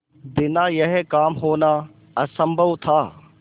बिना यह काम होना असम्भव था